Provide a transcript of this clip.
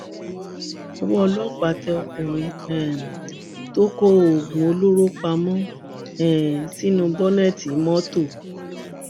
ọwọ ọlọpàá tẹ ọkùnrin um tó kó oògùn olóró pamọ um sínú bọnẹẹtì mọtò